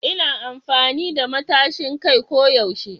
Ina amfani da matashin kai ko yaushe